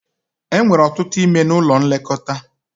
E nwere ọtụtụ ime n'ụlọ nlekọta